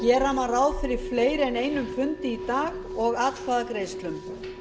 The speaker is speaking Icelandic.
gera má ráð fyrir fleiri en einum fundi í dag og atkvæðagreiðslum